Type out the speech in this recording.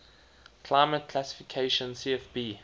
climate classification cfb